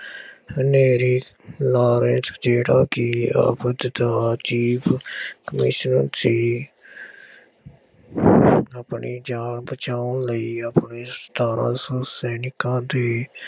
Henry ਰਾਇਤ ਜਿਹੜਾ ਕਿ ਅਵਧ ਦਾ chief commissioner ਸੀ। ਆਪਣੀ ਜਾਨ ਬਚਾਉਣ ਲਈ ਆਪਣੇ ਸਤਾਰਾਂ ਸੌ ਸੈਨਿਕਾਂ ਦੇ